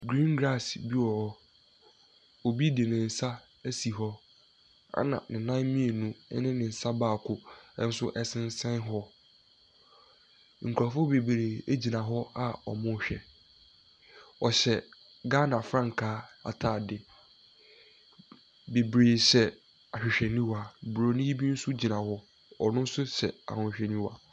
Griin graase bi wɔ hɔ, obi de ne nsa asi hɔ ɛna ne nan mienu na ne nsa baako ɛsensɛn hɔ. Nkorofoɔ bebree gyina hɔ a ɔmo rehwɛ, ɔhyɛ Ghana frankaa ataade. Bebree hyɛ ahwehweniwa. Broni bi nso gyina hɔ ɔno nso hyɛ ahwehweniwa.